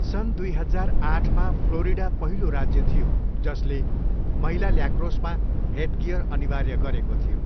सन् दुई हजार आठमा फ्लोरिडा पहिलो राज्य थियो जसले महिला ल्याक्रोसमा हेडगियर अनिवार्य गरेको थियो।